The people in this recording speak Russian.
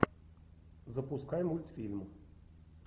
запускай мультфильм